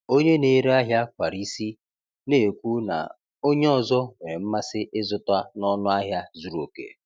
Onye na-ere ahịa kwara isi, na-ekwu na onye ọzọ nwere mmasị ịzụta n’ọnụ ahịa zuru oke.